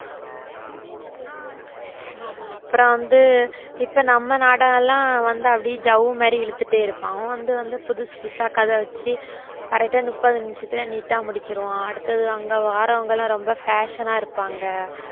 ஆமா அப்புறம் வந்து இப்ப நம்ம நாடகம் எல்லாம் வந்து அப்படியே ஜவ்வு மாதிரி இழுத்துட்டே இருப்பான் அவன் வந்து வந்து புதுசு புதுசா கதை வச்சு correct ஆ முப்பது நிமிஷத்துல neat ஆ முடிச்சிருவான் அடுத்தது அங்க வர்றவங்க எல்லாம் ரொம்ப fashion ஆ இருப்பாங்க